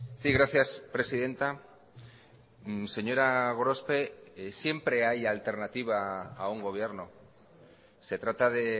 sí gracias presidenta señora gorospe siempre hay alternativa a un gobierno se trata de